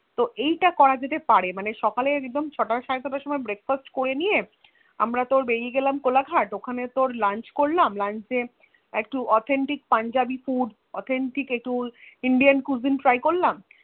তো এইটা করা যেতে পারে মানে সকালে একদম ছটা সাড়ে ছটার মধ্যে Breakfast করে তো বেরিয়েগেলাম কোলাঘাট ওখানে তোর Lunch করলাম লাঞ্চে authentic punjabi food authentic indian cuisine try করলাম